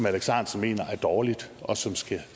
alex ahrendtsen mener er dårlige og som skal